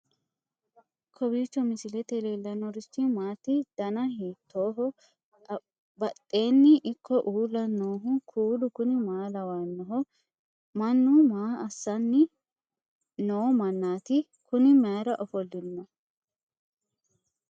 kowiicho misilete leellanorichi maati ? dana hiittooho ?abadhhenni ikko uulla noohu kuulu kuni maa lawannoho? mannu maa assanni noomannaati kuni mayar ofolle no